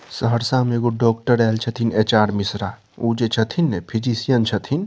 सहरसा में एगो डॉक्टर आयल छथीन एच.आर. मिश्रा उ जे छथीन ने फिजिशियन छथीन।